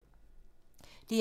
DR1